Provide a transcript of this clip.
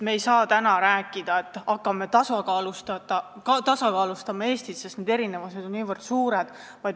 Me ei saa täna rääkida, et hakkame Eestit tasakaalustama, sest erinevused on niivõrd suured.